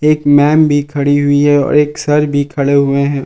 एक मैंम भी खड़ी हुई है और एक सर भी खड़े हुए हैं।